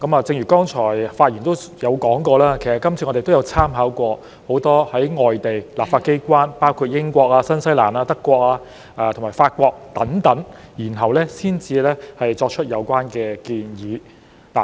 正如剛才有發言提到，我們這次也參考過很多外地立法機關，包括英國、新西蘭、德國和法國等地，然後才作出有關建議。